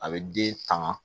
A bɛ den tanga